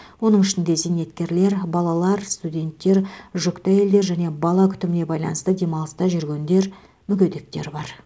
оның ішінде зейнеткерлер балалар студенттер жүкті әйелдер және бала күтіміне байланысты демалыста жүргендер мүгедектер бар